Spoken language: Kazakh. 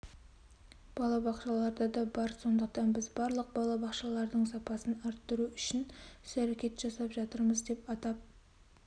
бақшаларда да бар сондықтан біз барлық балабақшалардың сапасын артыру үшін іс-әрекет жасап жатырмыз деп атап